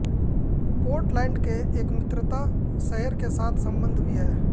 Portland के एक मित्रता शहर के साथ संबंध भी है